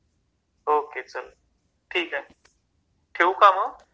okay चल ठिके ठेऊ का म